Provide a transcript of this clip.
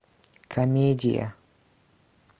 комедия